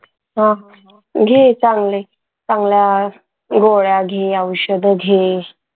हा घे चांगले चांगल्या गोळ्या, घे औषध घे.